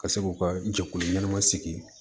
Ka se k'u ka jɛkulu ɲɛnama sigi